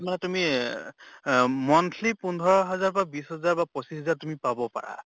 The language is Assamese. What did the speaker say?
মানে তুমি এহ monthly পোন্ধৰ হাজাৰ পা বিছ হাজাৰ বা পচিছ হাজাৰ তুমি পাব পাৰা